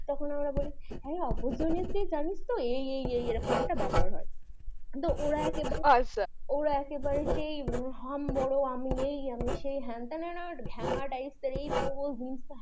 তখন আমরা বলি opportunists দের জানিস তো এই এই এই এরকম একটা ব্যাপার হয় ওরা একেবারে আচ্ছা ওরা একেবারে সেই হাম বোরো আমি এই আমি সেই হেন পড়বো তেন পড়বো jeans